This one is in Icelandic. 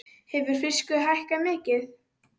Hefur fiskur hækkað mikið?